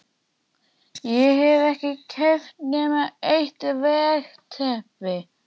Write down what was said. Ég hef ekki keypt nema eitt veggteppi